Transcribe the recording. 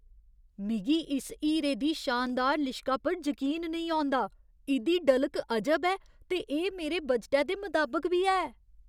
मिगी इस हीरे दी शानदार लिश्का पर जकीन नेईं औंदा! इ'दी डलक अजब ऐ, ते एह् मेरे बजटै दे मताबक बी ऐ।